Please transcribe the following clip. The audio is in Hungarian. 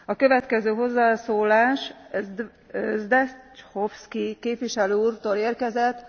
A következő hozzászólás Zdechovský képviselő úrtól érkezett.